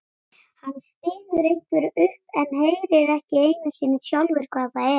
Hann stynur einhverju upp en heyrir ekki einu sinni sjálfur hvað það er.